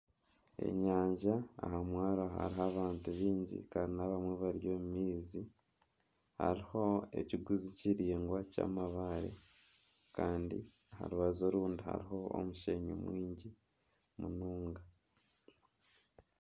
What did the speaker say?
Enyanja aha mwaro hariho abantu baingi kandi n'abamwe bari omu maizi hariho ekiguzi kiraingwa ky'amabaare kandi aha rubaju orundi hariho omushenyi mwingi munonga